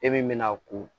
E min mɛna'a ko